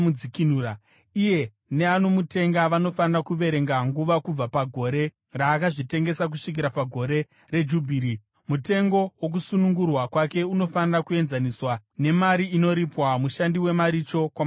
Iye neanomutenga vanofanira kuverenga nguva kubva pagore raakazvitengesa kusvikira paGore reJubhiri. Mutengo wokusunungurwa kwake unofanira kuenzaniswa nemari inoripwa mushandi wemaricho kwamakore iwayo.